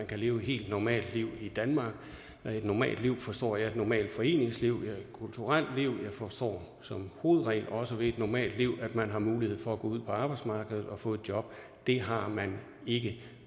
kan leve et helt normalt liv i danmark ved et normalt liv forstår jeg et normalt foreningsliv og et kulturelt liv og forstår som hovedregel også ved et normalt liv at man har mulighed for at gå ud på arbejdsmarkedet og få et job det har man ikke